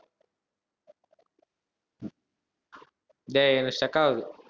டேய் stuck ஆகுது